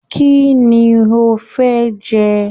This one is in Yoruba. Kínní o fẹ jẹ?